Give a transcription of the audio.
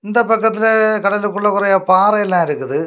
இந்த பக்கத்துல கடலுக்குள்ள கொறைய பாறைல இருக்குது.